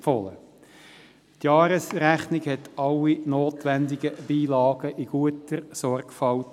Die Jahresrechnung enthielt alle notwendigen Beilagen in guter Sorgfalt.